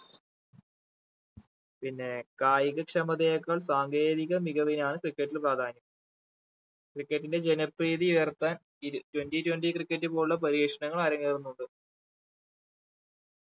പിന്നെ കായിക ക്ഷമതെയെക്കാൾ സാങ്കേതിക മികവിനാണ് cricket ൽ പ്രാധാന്യം cricket ന്റെ ജനപ്രീതി ഉയർത്താൻ ഇ twenty twentycricket പോലുള്ള പരീക്ഷണങ്ങൾ അരങ്ങേറുന്നുണ്ട്